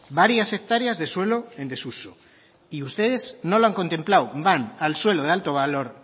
varias hectáreas de suelo en desuso y ustedes no lo han contemplado van al suelo de alto valor